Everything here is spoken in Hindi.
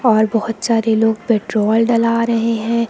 और बहुत सारे लोग पेट्रोल डला रहे हैं।